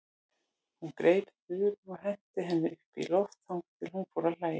Hún greip Þuru og henti henni upp í loft þangað til hún fór að hlæja.